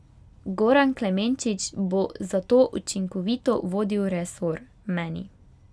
Goran Klemenčič bo zato učinkovito vodil resor, meni.